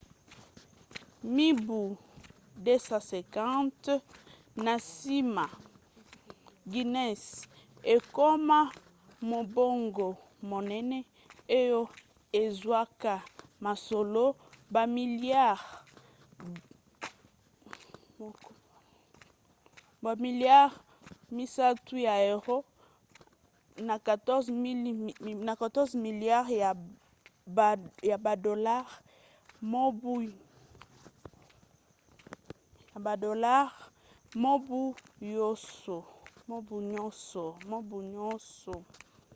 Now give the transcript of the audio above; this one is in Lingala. mibu 250 na nsima guinness ekoma mombongo monene oyo ezwaka mosolo bamiliare 10 ya euro 14,7 miliare ya badolare mobu nyonso